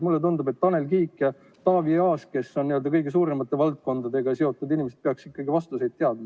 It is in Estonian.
Mulle tundub, et Tanel Kiik ja Taavi Aas, kes on n-ö kõige suuremate valdkondadega seotud inimesed, peaksid ikkagi vastuseid teadma.